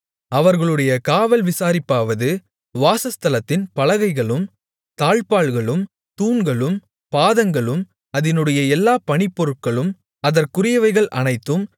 அவர்களுடைய காவல் விசாரிப்பாவது வாசஸ்தலத்தின் பலகைகளும் தாழ்ப்பாள்களும் தூண்களும் பாதங்களும் அதினுடைய எல்லாப் பணிப்பொருட்களும் அதற்குரியவைகள் அனைத்தும்